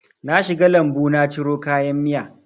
Na shiga lambu na ciro kayan miya